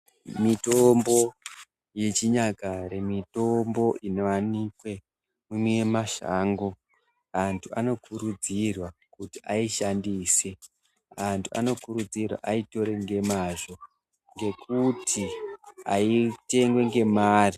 Mitombo yechinyakare mitombo inowanikwa mune mashango antu anokurudzirwa kuti aishandisw antu anokurudzirwa aitore nemazvo ngekuti aitorwi nemare.